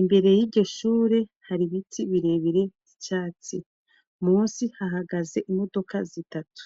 imbere y'igishure hari ibiti birebire icatsi musi hahagaze imodoka zitatu.